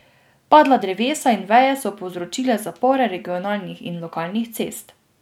Padla drevesa in veje so povzročile zapore regionalnih in lokalnih cest.